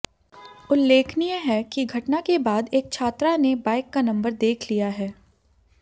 उल्लेखनीय है कि घटना के बाद एक छात्रा ने बाइक का नंबर देख लिया है